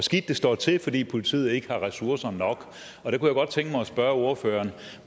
det står til fordi politiet ikke har ressourcer nok jeg kunne godt tænke mig at spørge ordføreren